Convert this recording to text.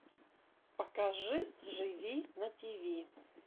покажи живи на тиви